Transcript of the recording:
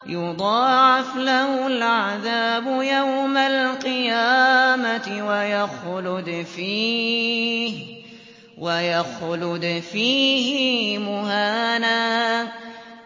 يُضَاعَفْ لَهُ الْعَذَابُ يَوْمَ الْقِيَامَةِ وَيَخْلُدْ فِيهِ مُهَانًا